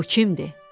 Bu kimdir?